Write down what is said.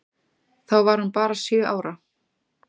Þá var hún bara sjö ára.